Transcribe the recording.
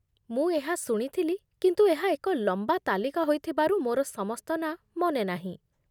ମୁଁ ଏହା ଶୁଣିଥିଲି, କିନ୍ତୁ ଏହା ଏକ ଲମ୍ବା ତାଲିକା ହୋଇଥିବାରୁ ମୋର ସମସ୍ତ ନାଁ ମନେ ନାହିଁ।